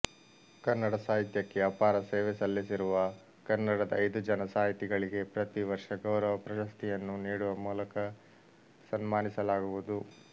ಕನ್ನಡ ಸಾಹಿತ್ಯಕ್ಕೆ ಅಪಾರ ಸೇವೆ ಸಲ್ಲಿಸಿರುವ ಕನ್ನಡದ ಐದು ಜನ ಸಾಹಿತಿಗಳಿಗೆ ಪ್ರತಿವರ್ಷ ಗೌರವ ಪ್ರಶಸ್ತಿಯನ್ನು ನೀಡುವ ಮೂಲಕ ಸನ್ಮಾನಿಸಲಾಗುವುದು